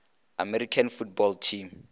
american football team